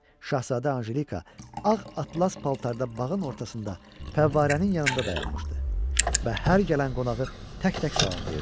Şahzadə Anjelika ağ atlas paltarda bağın ortasında fəvvarənin yanında dayanmışdı və hər gələn qonağı tək-tək salamlayırdı.